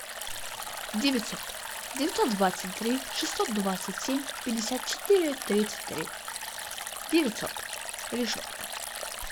девятьсот девятьсот двадцать три шестьсот двадцать семь пятьдесят четыре тридцать три девятьсот решетка